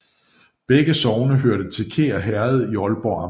Begge sogne hørte til Kær Herred i Aalborg Amt